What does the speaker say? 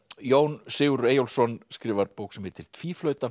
Jón Sigurður Eyjólfsson skrifar bók sem heitir